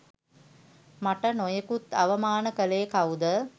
මට නොයෙකුත් අවමාන කලේ කවුද?